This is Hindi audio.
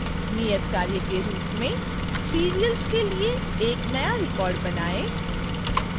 नियतकार्य के रूप में serials के लिए एक नया रिकॉर्ड बनाएँ